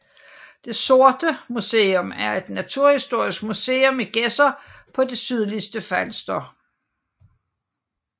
Det Sorte Museum er et naturhistorisk museum i Gedser på det sydligste Falster